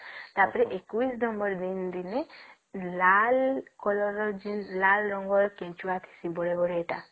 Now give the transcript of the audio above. ଟା ପରେ ୨୧ number ଦିନ ଲାଲ colour ର ଲାଲ ରଙ୍ଗ ର ଥିବା କେଞ୍ଚୁଆ ବଡ ବଡ ସେଇଟା